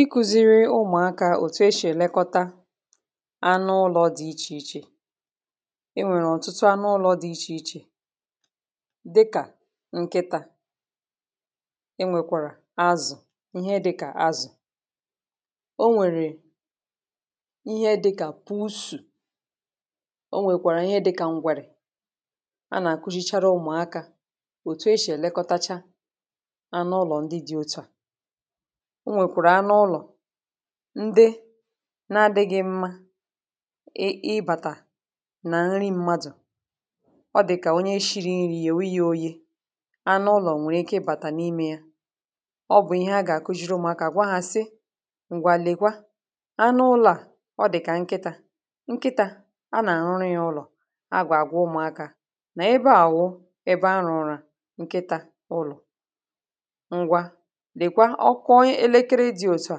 Ịkụ̄ziri ụmụ̀akā ètù eshì èlekọta anụụlọ̄ dị ichè ichè enwèrè ọ̀tụtụ anụụlọ̄ dị ichè ichè dịkà nkịtā enwèkwàrà azụ̀ ihe dịkà azụ̀ onwèrè ihe dịkà pùusù onwèkwàrà ihe dịkà ǹgwèrè anà-àkụzhichara ụmụakā òtù eshì èlekọtacha anụụlọ̀ ndị dị otu à onwèkwàrà anụụlọ̄ ndị na adịghị̄ mma ị ịbàtà nà nri mmadụ̀ ọ dị̀kà onye shiri nri yèwe yā oyē anụụlọ̀ nwè ike ịbàtà n’imē ya ọ bụ̀ ihe agà-àkụzhiri ụmụakā gwa hā sị ǹgwà lèkwa anụụlọ̄ à ọ dị̀kà nkịtā nkịtā anà-àrụrụ ya ụlọ̀ a gwà-àgwa ụmụakā nà ebe à wụ ebe arụ̀ọ̀rà nkịtā ụlọ̀ ngwa lèkwa ọ kụọ elekere dị òtù a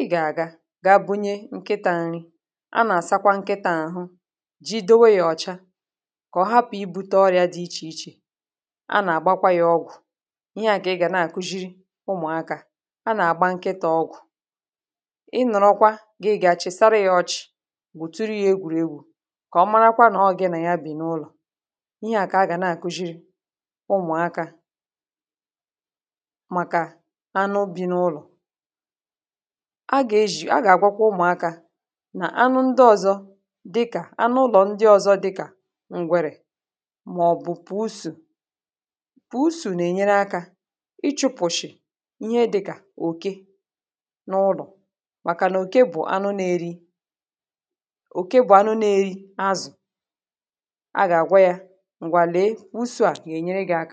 ị gà-àga ga bunye nkịtā nri anà-àsakwa nkịtā àhụ jidowo ya ọ̀cha kà ọ hapụ̀ ibūte ọrị̄a dị ichè ichè anà-àgbakwa ya ọgwụ̀ ihe à kà ị gà na-àkụzhiri ụmụ̀akā anà-àgba nkịtā ọgwụ̀ ị nọ̀rọkwa gị ga chị̀sara ya ọchị̀ gwùturu ya egwùregwu kà ọ marakwa nà ò gị nà ya bì n’ụlọ̀ ihe à kà agà na-àkụzhiri ụmụ̀akā màkà anụ bi n’ụlọ̀ agà-ezhì agà-àgwakwa ụmụ̀akā nà anụ ndị ọzọ dịkà anụụlọ̀ ndị ọ̀zọ dịkà ǹgwèrè màọ̀bụ̀ pùusù pùusù nà ènyere akā ịchụ̄pụ̀shị̀ ihe dịkà òke n’ụlọ̀ màkà nà òke bụ̀ anụ na-eri òke bụ̀ anụ na-eri azụ̀ agà-àgwa yā ngwa lèe pùusū à gà-ènyere gị̄ aka